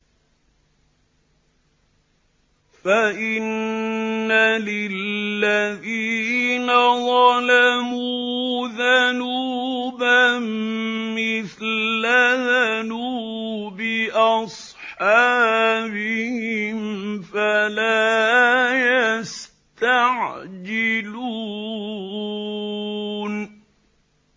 فَإِنَّ لِلَّذِينَ ظَلَمُوا ذَنُوبًا مِّثْلَ ذَنُوبِ أَصْحَابِهِمْ فَلَا يَسْتَعْجِلُونِ